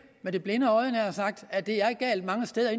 med det blinde øje nær sagt at det er galt mange steder